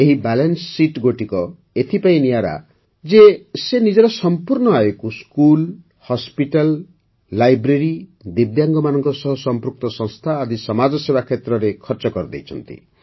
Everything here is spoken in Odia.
ଏହି ବାଲାନ୍ସ ଶୀତ୍ ଗୋଟିକ ଏଥିପାଇଁ ନିଆରା ଯେ ସେ ନିଜର ସମ୍ପୂର୍ଣ୍ଣ ଆୟକୁ ସ୍କୁଲ ହସ୍ପିଟାଲ ଲାଇବ୍ରେରୀ ଦିବ୍ୟାଙ୍ଗମାନଙ୍କ ସହ ସମ୍ପୃକ୍ତ ସଂସ୍ଥା ଆଦି ସମାଜସେବା କ୍ଷେତ୍ରରେ ଖର୍ଚ୍ଚ କରିଦେଇଛନ୍ତି